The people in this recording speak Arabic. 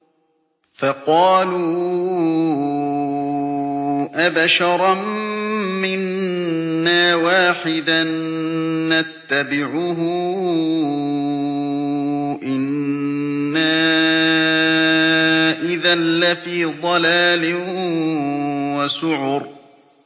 فَقَالُوا أَبَشَرًا مِّنَّا وَاحِدًا نَّتَّبِعُهُ إِنَّا إِذًا لَّفِي ضَلَالٍ وَسُعُرٍ